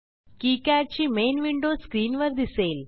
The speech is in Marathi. किकाड ची मेन विंडो स्क्रीनवर दिसेल